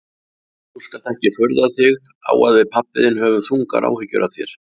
Þú skalt ekki furða þig á að við pabbi þinn höfum þungar áhyggjur af þér.